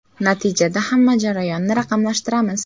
Natijada hamma jarayonni raqamlashtiramiz.